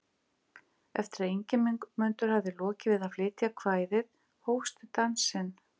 Eftir að Ingimundur hafði lokið við að flytja kvæðið hófst dansinn.